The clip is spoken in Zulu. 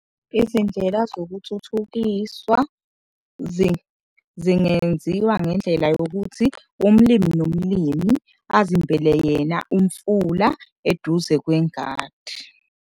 Izindlela zokuthuthukiswa zingenziwa ngendlela yokuthi umlimi nomlimi azimbele yena umfula eduze kwengadi.